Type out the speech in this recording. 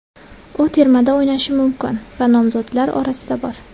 U termada o‘ynashi mumkin va nomzodlar orasida bor.